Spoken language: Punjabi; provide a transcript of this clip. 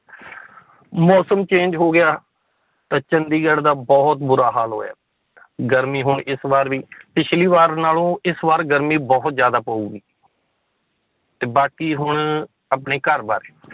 ਮੌਸਮ change ਹੋ ਗਿਆ, ਤਾਂ ਚੰਡੀਗੜ੍ਹ ਦਾ ਬਹੁਤ ਬੁਰਾ ਹਾਲ ਹੋਇਆ ਗਰਮੀ ਹੁਣ ਇਸ ਬਾਰ ਵੀ ਪਿੱਛਲੀ ਵਾਰ ਨਾਲੋਂ ਇਸ ਵਾਰ ਗਰਮੀ ਬਹੁਤ ਜ਼ਿਆਦਾ ਪਊਗੀ ਤੇ ਬਾਕੀ ਹੁਣ ਆਪਣੇ ਘਰ ਬਾਰੇ